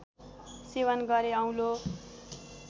सेवन गरे औलो